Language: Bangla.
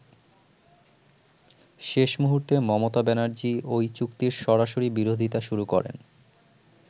শেষ মুহুর্তে মমতা ব্যানার্জী ওই চুক্তির সরাসরি বিরোধিতা শুরু করেন।